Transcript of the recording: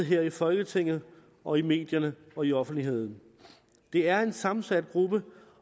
her i folketinget og i medierne og i offentligheden det er en sammensat gruppe